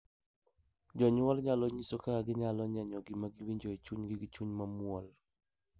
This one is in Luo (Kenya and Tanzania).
Jonyuol nyalo nyiso kaka ginyalo nyenyo gima giwinjo e chunygi gi chuny mamuol,